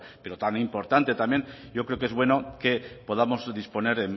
pero tan importante también yo creo que es bueno que podamos disponer